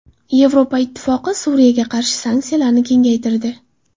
Yevropa Ittifoqi Suriyaga qarshi sanksiyalarni kengaytirdi.